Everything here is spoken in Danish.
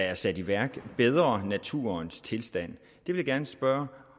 er sat i værk forbedrer naturens tilstand vil jeg gerne spørge